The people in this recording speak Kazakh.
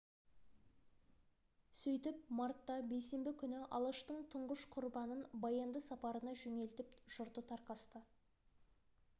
сөйтіп мартта бейсенбі күні алаштың тұңғыш құрбанын баянды сапарына жөнелтіп жұрты тарқасты